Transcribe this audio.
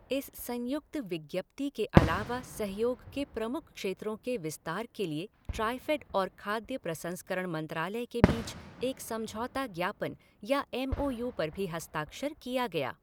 इस संयुक्त विज्ञप्ति के अलावा सहयोग के प्रमुख क्षेत्रों के विस्तार के लिए ट्राईफ़ेड और खाद्य प्रसंस्करण मंत्रालय के बीच एक समझौता ज्ञापन या एम ओ यू पर भी हस्ताक्षर किया गया।